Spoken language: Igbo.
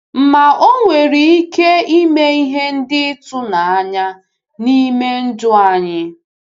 Ma o nwere ike ime ihe ndị ịtụnanya n’ime ndụ anyị.